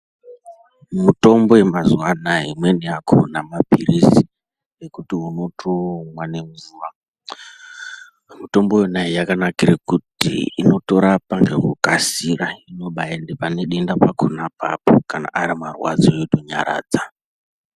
Mitombo yemazuva anawa imweni yakona mapirizi ekuti unotomwa nemvura Mitombo yona yakanakira kuti inotorapa nekukasira zvinobaenda pane denda pona apapo kana arimarwadzo zvotonyaradza.